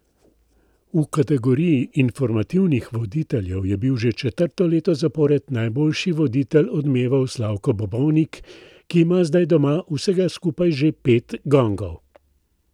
V kategoriji informativnih voditeljev je bil že četrto leto zapored najboljši voditelj Odmevov Slavko Bobovnik, ki ima zdaj doma vsega skupaj že pet gongov.